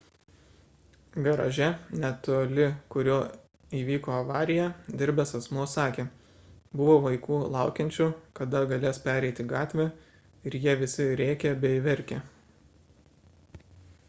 garaže netoli kurio įvyko avarija dirbęs asmuo sakė buvo vaikų laukiančių kada galės pereiti gatvę ir jie visi rėkė bei verkė